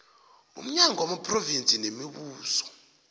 umnyango wamaphrovinsi nemibuso